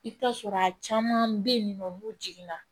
I bɛ t'a sɔrɔ a caman bɛ yen nɔ n'u jiginna